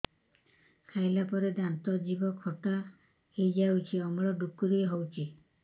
ଖାଇଲା ପରେ ଦାନ୍ତ ଜିଭ ଖଟା ହେଇଯାଉଛି ଅମ୍ଳ ଡ଼ୁକରି ହଉଛି